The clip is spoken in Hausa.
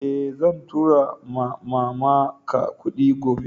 Eh, zan tura ma'mama n ka kudin gobe.